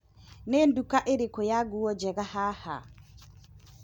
Nĩ nduka ĩrĩkũ ya nguo njega haha?